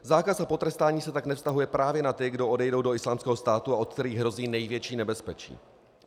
Zákaz a potrestání se tak nevztahuje právě na ty, kdo odejdou do Islámského státu a od kterých hrozí největší nebezpečí.